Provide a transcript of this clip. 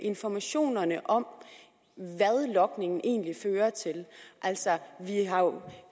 informationerne om hvad logningen egentlig fører til